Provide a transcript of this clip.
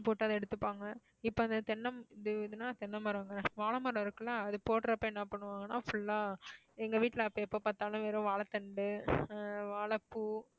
போட்டு அத எடுத்துப்பாங்க இப்ப அந்த தென்னை இதுன்னா தென்னை மரங்க, வாழைமரம் இருக்குல்ல அது போடறப்ப என்ன பண்ணுவாங்கன்னா full ஆ எங்க வீட்டுல அப்ப எப்ப பாத்தாலும் வெறும் வாழைத்தண்டு ஆஹ் வாழைப்பூ